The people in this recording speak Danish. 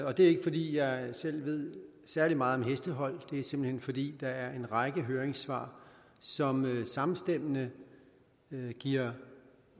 og det er ikke fordi jeg selv ved særlig meget om hestehold det er simpelt hen fordi der er en række høringssvar som samstemmende giver